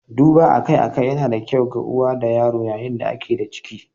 Duba akai-akai yana da kyau ga uwa da yaro yayin da ake da ciki.